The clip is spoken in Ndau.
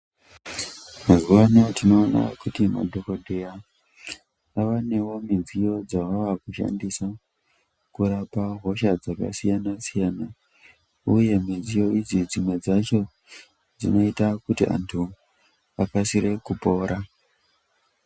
Mazuva ano tinoona kuti madhokoteya avanewo midziyo dzavakushandisa kurapa hosha dzakasiyana siyana uye midziyo iyi dzimwe dzacho dzinoita kuti antu akasire kupora.